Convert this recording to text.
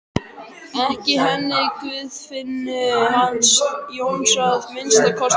Ekki henni Guðfinnu hans Jóns að minnsta kosti.